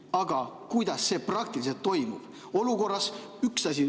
Aga kuidas see praktiliselt toimub?